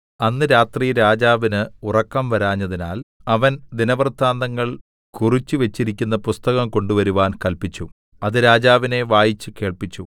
അന്ന് രാത്രി രാജാവിന് ഉറക്കം വരാഞ്ഞതിനാൽ അവൻ ദിനവൃത്താന്തങ്ങൾ കുറിച്ചുവെച്ചിരിക്കുന്ന പുസ്തകം കൊണ്ടുവരുവാൻ കല്പിച്ചു അത് രാജാവിനെ വായിച്ചു കേൾപ്പിച്ചു